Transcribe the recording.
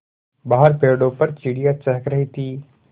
बाहर पेड़ों पर चिड़ियाँ चहक रही थीं